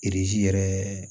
yɛrɛ